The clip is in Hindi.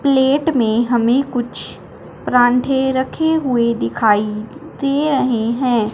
प्लेट में हमें कुछ पराठें रखे हुए दिखाई दे रहे हैं।